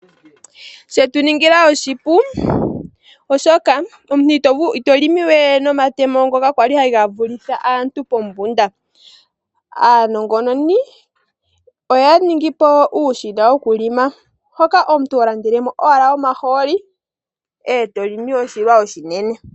Shetuningila oshipu oshoka omuntu ito limi we nomatemo ngoka kwali haga vulitha aantu pombunda . Aanongononi oya ningi po uushina wokulima hoka omuntu holandelemo owala omaholi eto limi oshilwa oshinene.